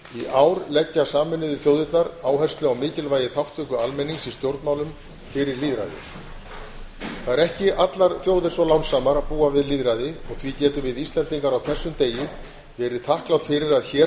ár leggja sameinuðu þjóðirnar áherslu á mikilvægi þátttöku almennings í stjórnmálum fyrir lýðræðið það eru ekki allar þjóðir svo lánsamar að búa við lýðræði og því getum við íslendingar á þessum degi verið þakklát fyrir að hér